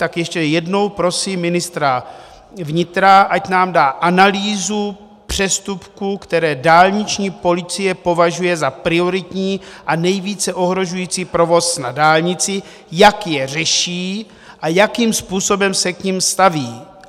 Tak ještě jednou prosím ministra vnitra, ať nám dá analýzu přestupků, které dálniční policie považuje za prioritní a nejvíce ohrožující provoz na dálnici, jak je řeší a jakým způsobem se k nim staví.